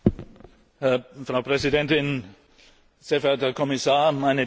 Frau Präsidentin, sehr verehrter Herr Kommissar, meine Damen und Herren!